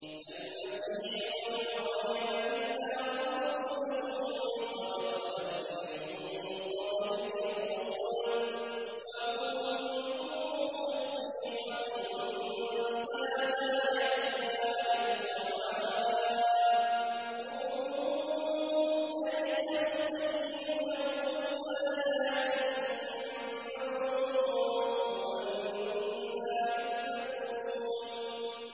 مَّا الْمَسِيحُ ابْنُ مَرْيَمَ إِلَّا رَسُولٌ قَدْ خَلَتْ مِن قَبْلِهِ الرُّسُلُ وَأُمُّهُ صِدِّيقَةٌ ۖ كَانَا يَأْكُلَانِ الطَّعَامَ ۗ انظُرْ كَيْفَ نُبَيِّنُ لَهُمُ الْآيَاتِ ثُمَّ انظُرْ أَنَّىٰ يُؤْفَكُونَ